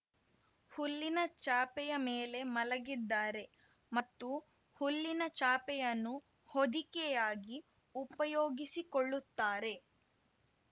ಹುಲ್ಲಿನ ಚಾಪೆಯ ಮೇಲೆ ಮಲಗಿದ್ದಾರೆ ಮತ್ತು ಹುಲ್ಲಿನ ಚಾಪೆಯನ್ನು ಹೊದಿಕೆಯಾಗಿ ಉಪಯೋಗಿಸಿಕೊಳ್ಳುತ್ತಾರೆ